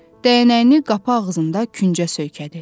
Dəyənəyini qapı ağzında küncə söykədi.